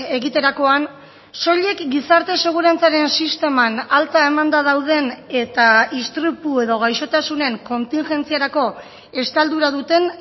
egiterakoan soilik gizarte segurantzaren sisteman alta emanda dauden eta istripu edo gaixotasunen kontingentziarako estaldura duten